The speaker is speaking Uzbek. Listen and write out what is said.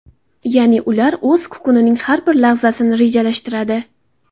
Ya’ni ular o‘z kunining har bir lahzasini rejalashtiradi.